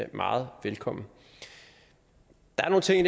meget velkommen der er nogle ting